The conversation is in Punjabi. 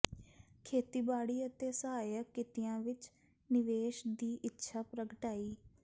ਖੇਤੀਬਾੜੀ ਅਤੇ ਸਹਾਇਕ ਕਿੱਤਿਆਂ ਵਿੱਚ ਨਿਵੇਸ਼ ਦੀ ਇੱਛਾ ਪ੍ਰਗਟਾਈ